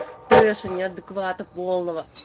трэша неадеквата полного